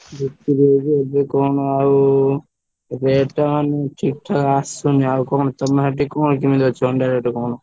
ବିକ୍ରି ହଉଛି ଏବେ କଣ ଆଉ rate ମାନେ ଠିକ୍ ଠାକ୍ ଆସୁନି ଆଉ କଣ ତମର ସେଠି କଣ କେମିତି ଅଛି ଅଣ୍ଡା rate କଣ?